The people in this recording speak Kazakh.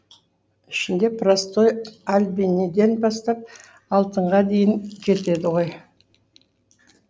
ішінде простой альбениден бастап алтынға дейін кетеді ғой